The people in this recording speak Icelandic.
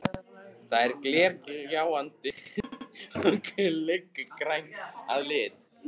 Það er glergljáandi og gulgrænt að lit.